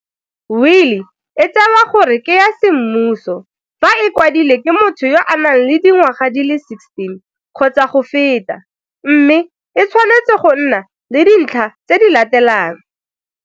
Wili e tsewa gore ke ya semmuso fa e kwadilwe ke motho yo a nang le dingwaga di le 16 kgotsa go feta, mme e tshwanetse go nna le dintlha tse di latelang.